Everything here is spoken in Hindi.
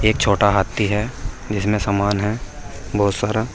एक छोटा हाथी है जिसमे समान है बहुत सारा।